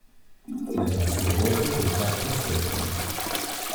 Naj pa slovo poteka postopoma.